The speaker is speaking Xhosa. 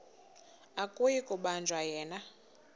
akuyi kubanjwa yena